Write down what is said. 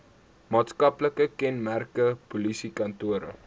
maatskaplike kenmerke polisiekantore